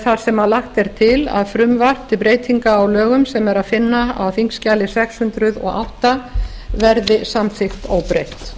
þar sem lagt er til að frumvarp til breytinga á lögum sem er að finna á þingskjali sex hundruð og átta verði samþykkt óbreytt